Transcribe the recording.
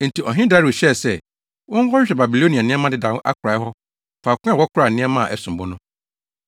Enti ɔhene Dario hyɛɛ sɛ, wɔnkɔhwehwɛ Babilonia nneɛma dedaw akorae hɔ faako a wɔkora nneɛma a ɛsom bo no.